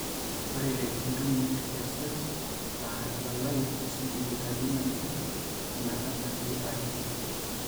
Ore intubuin kesesh aa elalai oosentimitani nabo ometabaiki are.